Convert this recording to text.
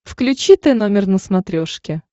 включи т номер на смотрешке